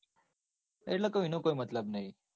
એટલે કૌ એનો તો કઈ મતલબ નઈ.